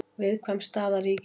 Viðkvæm staða ríkissjóðs